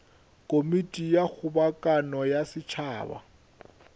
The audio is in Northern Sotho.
komiti ya kgobokano ya setšhaba